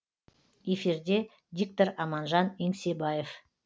эфирде диктор аманжан еңсебаев